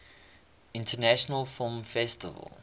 international film festival